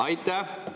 Aitäh!